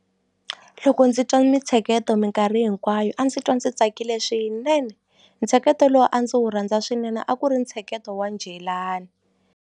Loko ndzi twa mintsheketo mikarhi hinkwayo a ndzi twa ndzi tsakile swinene ntsheketo lowu a ndzi wu rhandza swinene a ku ri ntsheketo wa njhelani.